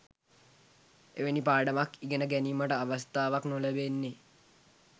එවැනි පාඩමක් ඉගෙන ගැනීමට අවස්ථාවක් නොලැබෙන්නේ